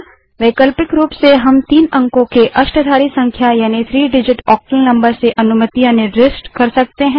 वैकल्पिक रूप से हम तीन अंकों की अष्टाधारी संख्या अर्थात three डिजिट ओक्टल नंबर से अनुमतियाँ निर्दिष्ट कर सकते हैं